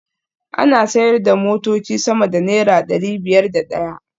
Ana sayar da motoci sama da naira dari biyar da daya